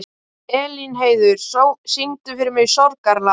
Elínheiður, syngdu fyrir mig „Sorgarlag“.